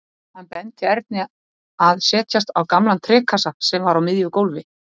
Hann benti Erni að setjast á gamlan trékassa sem var á miðju gólfi.